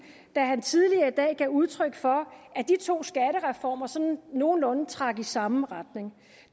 da han tidligere i dag gav udtryk for at de to skattereformer sådan nogenlunde trak i samme retning